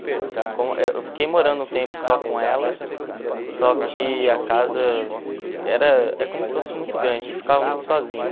Eu fiquei morando um tempo só com ela, só que a casa era é como se fosse muito grande, ficava muito sozinho.